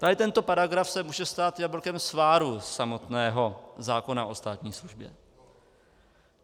Tady tento paragraf se může stát jablkem sváru samotného zákona o státní službě.